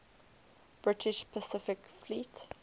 british pacific fleet